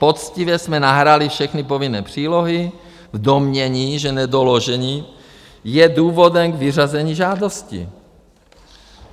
Poctivě jsme nahráli všechny povinné přílohy v domnění, že nedoložení je důvodem k vyřazení žádosti.